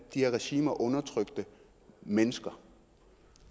de her regimer undertrykte mennesker